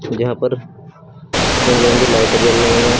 जहां पर रंग बिरंगी लाइटें जल रही हैं।